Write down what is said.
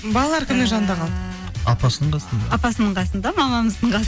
балалар кімнің жанында қалды апасының қасында апасының қасында мамамыздың